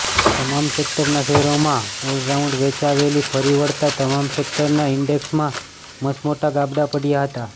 તમામ સેકટરના શેરોમાં ઑલરાઉન્ડ વેચવાલી ફરી વળતાં તમામ સેકટરના ઈન્ડેક્સમાં મસમોટા ગાબડા પડ્યા હતા